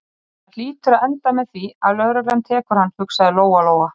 Það hlýtur að enda með því að lögreglan tekur hann, hugsaði Lóa-Lóa.